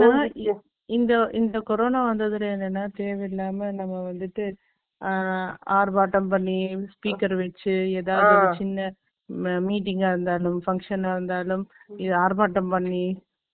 இந்த, இந்த கொரோனா வந்ததுல என்னன்னா, தேவையில்லாம நம்ம வந்துட்டு, ஆ, ஆர்ப்பாட்டம் பண்ணி, speaker வச்சு, எதாவது ஒரு சின்ன, meeting ஆ இருந்தாலும், function ஆ இருந்தாலும், இது ஆர்ப்பாட்டம் பண்ணி,